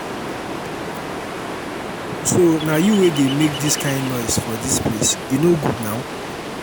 so na you wey dey make dis kin noise for dis place e no good now